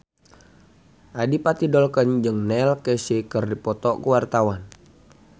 Adipati Dolken jeung Neil Casey keur dipoto ku wartawan